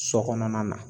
So kɔnɔna na